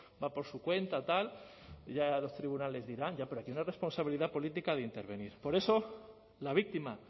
va por su cuenta tal ya los tribunales dirán ya pero aquí hay una responsabilidad política de intervenir por eso la víctima